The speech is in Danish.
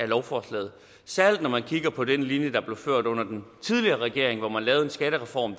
lovforslaget særlig når man kigger på den linje der blev ført under den tidligere regering hvor man lavede en skattereform